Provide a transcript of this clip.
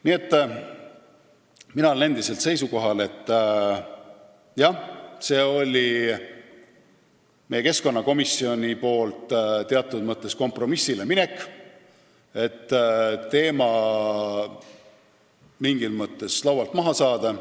Nii et mina olen endiselt seisukohal, et meie keskkonnakomisjon läks teatud mõttes kompromissile, et teema mingis mõttes laualt maha saada.